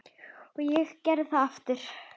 Og ég gerði það aftur.